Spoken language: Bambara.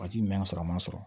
Waati min y'a sɔrɔ a ma sɔrɔ